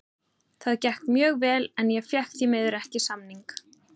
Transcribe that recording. Það gekk mjög vel en ég fékk því miður ekki samning.